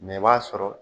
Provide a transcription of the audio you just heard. Mɛ i b'a sɔrɔ